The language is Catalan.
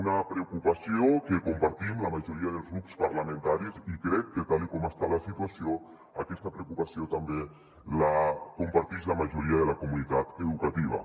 una preocupació que compartim la majoria dels grups parlamentaris i crec que tal com està la situació aquesta preocupació també la compartix la majoria de la comunitat educativa